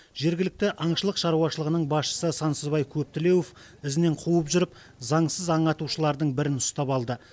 жергілікті аңшылық шаруашылығының басшысы сансызбай көптілеуов ізінен қуып жүріп заңсыз аң атушылардың бірін ұстап алды